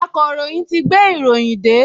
Akọ̀ròyìn ti gbé ìròyìn dé